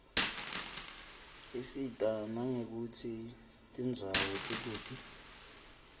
isita nangekutsi tindzawo tikuphi